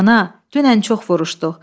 Ana, dünən çox vuruşduq.